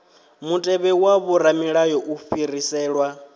mutevhe wa vhoramilayo u fhiriselwa